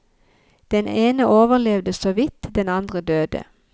Den ene overlevde så vidt, den andre døde.